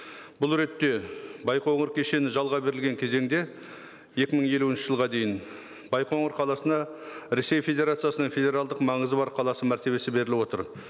бұл ретте байқоңыр кешені жалға берілген кезеңде екі мың елуінші жылға дейін байқоңыр қаласына ресей федерациясының федералдық маңызы бар қаласы мәртебесі беріліп отыр